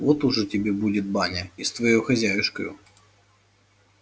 вот ужо тебе будет баня и с твоею хозяюшкою